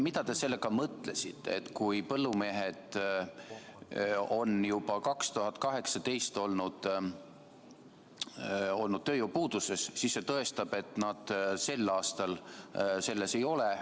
Mida te sellega mõtlesite, et kui põllumehed olid juba aastal 2018 tööjõupuuduses, siis see tõestab, et nad sel aastal selles ei ole?